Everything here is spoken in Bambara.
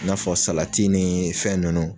I n'a fɔ salati nin fɛn nunnu.